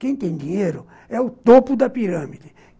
Quem tem dinheiro é o topo da pirâmide.